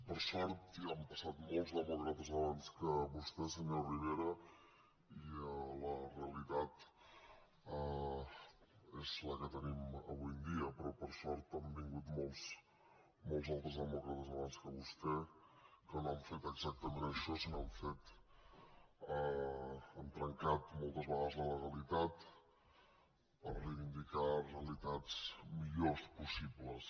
per sort ja han passat molts demòcrates abans que vostè senyor rivera i la realitat és la que tenim avui en dia però per sort han vingut molts altres demòcrates abans que vostè que no han fet exactament això sinó que han trencat moltes vegades la legalitat per reivindicar realitats millors possibles